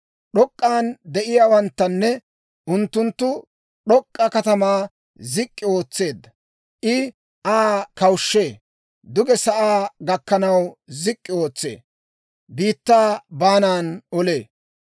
D'ok'k'an de'iyaawanttanne, unttunttu d'ok'k'a katamaa zik'k'i ootseedda; I Aa kawushshee. Duge sa'aa gakkanaw zik'k'i ootsee; biittaa baanan olee.